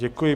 Děkuji.